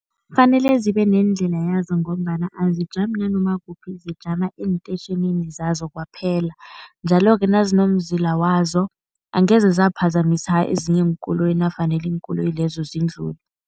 Kufanele zibe neendlela yazo ngombana azijami nanoma kukuphi, zijama eentetjhinini zazo kwaphela. Njalo-ke nazinomzila wazo angeze zaphazamisa ezinye iinkoloyi nafanele iinkoloyi lezo zindlule.